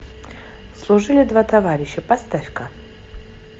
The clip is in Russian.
служили два товарища поставь ка